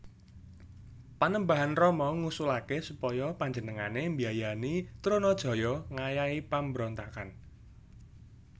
Panembahan Rama ngusulaké supaya panjenengané mbiayani Trunajaya ngayahi pambrontakan